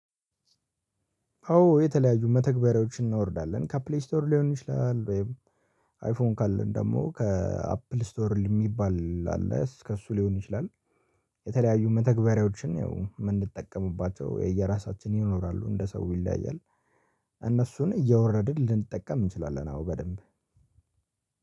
አዎ የተለያዩ መተግበሪያዎችን እናወርዳለን ከፕሊ ስቶር ሊሆን ይችላል ወይም አይፎን ካለን ደግሞ ከአፕል ስቶር የሚባል አለ ከእሱ ሊሆን ይችላል። የተለያዩ መተግበሪያዎችን የምንጠቀምባቸው የየራሳችን ይኖራሉ እንደ ሰው ይለያያል። እነሱን እያወረድን ልንጠቀም እንችላለን። አዎ በደንብ